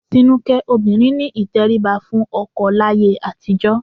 Tinúkẹ́, obìnrin ní ìtẹríba fún ọkọ láyé àtijọ́